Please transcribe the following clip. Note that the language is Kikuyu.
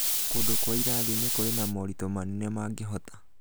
Kũndũ kwa irathi-inĩ kũrĩ na moritũ manene mangĩhota